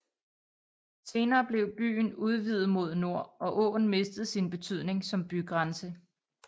Senere blev byen udvidet mod nord og åen mistede sin betydning som bygrænse